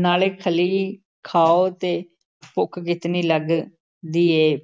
ਨਾਲ਼ੇ ਖਲ਼ੀ ਖਾਓ ਤੇ ਭੁੱਖ ਕਿਤਨੀ ਲੱਗਦੀ ਏ ।